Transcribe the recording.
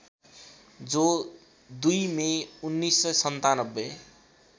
जो २ मे १९९७